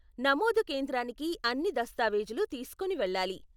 నమోదు కేంద్రానికి అన్ని దస్తావేజులు తీస్కోని వెళ్ళాలి.